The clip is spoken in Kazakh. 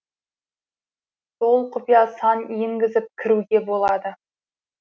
сол құпия сан енгізіп кіруге болады